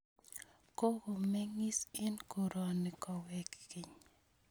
Kokomeng'is eng' koroni kowek keny